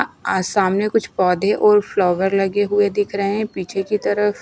आज सामने कुछ पौधे और फ्लावर लगे हुए दिख रहे हैं पीछे की तरफ--